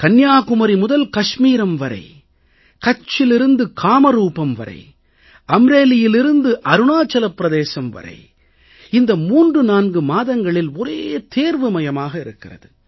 கன்னியாகுமரி முதல் காஷ்மீர் வரை கச்சிலிருந்து காமரூபம் வரை அம்ரேலியிலிருந்து அருணாச்சல பிரதேசம் வரை இந்த 34 மாதங்களில் ஒரே தேர்வுமயமாக இருக்கிறது